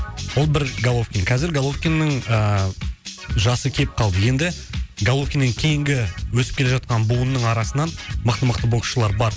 ол бір головкин қазір головкиннің ыыы жасы кеп калды енді головкиннен кейінгі өсіп келе жатқан буынның арасынан мықты мықты боксшылар бар